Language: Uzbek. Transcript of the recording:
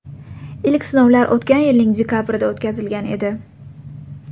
Ilk sinovlar o‘tgan yilning dekabrida o‘tkazilgan edi.